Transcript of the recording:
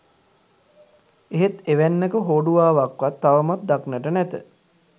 එහෙත් එවැන්නක හෝඩුවාවක්වත් තවමත් දක්නට නැත